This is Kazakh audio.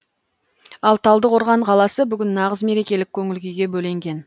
ал талдықорған қаласы бүгін нағыз мерекелік көңіл күйге бөленген